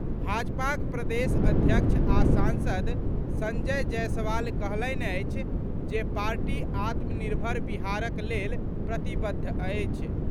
भाजपाक प्रदेश अध्यक्ष आ सांसद संजय जयसवाल कहलनि अछि जे पार्टी आत्मनिर्भर बिहारक लेल प्रतिबद्ध अछि।